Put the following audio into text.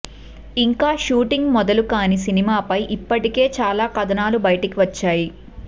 ఇంకా షూటింగ్ మొదలు కానీ సినిమా పై ఇప్పటికే చాలా కథనాలు బయటకి వచ్చాయి